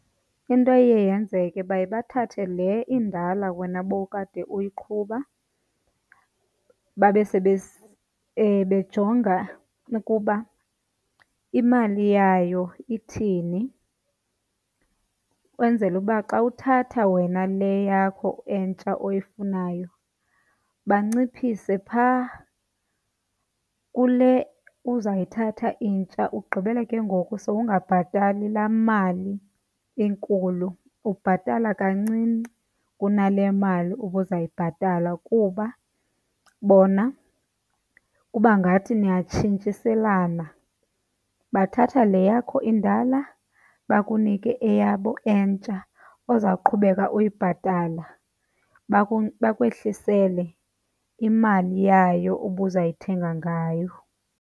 Into eye yenzeke baye bathathe leya indala wena bowukade uyiqhuba, babe bejonga ukuba imali yayo ithini. Ukwenzela uba xa uthatha wena le yakho entsha oyifunayo banciphise phaa kule uzayithatha intsha, ugqibele ke ngoku sowungabhatali laa mali inkulu ubhatala kancinci kunale mali ubuzawuyibhatala kuba bona kuba ngathi niyatshintshiselana. Bathatha le yakho indala bakunike eyabo entsha ozawuqhubeka uyibhatala, bakwehlisele imali yayo ubuzayithenga ngayo.